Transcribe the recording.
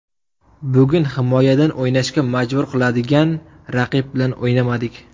Bugun himoyadan o‘ynashga majbur qiladigan raqib bilan o‘ynamadik.